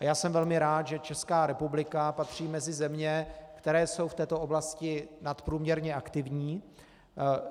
A já jsem velmi rád, že Česká republika patří mezi země, které jsou v této oblasti nadprůměrně aktivní.